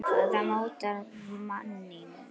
Hvað mótar manninn?